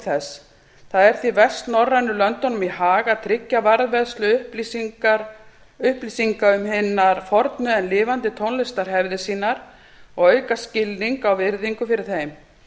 þess það er því vestnorrænu löndunum í hag að tryggja varðveislu upplýsinga um hinar fornu en lifandi tónlistarhefðir sínar og auka skilning á og virðingu fyrir þeim